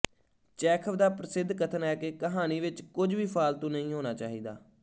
Chekhov ਦਾ ਪ੍ਰਸਿੱਧ ਕਥਨ ਹੈ ਕਿ ਕਹਾਣੀ ਵਿੱਚ ਕੁੱਝ ਵੀ ਫਾਲਤੂ ਨਹੀਂ ਹੋਣਾ ਚਾਹੀਦਾ